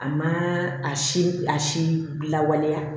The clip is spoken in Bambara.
A ma a si a si lawaleya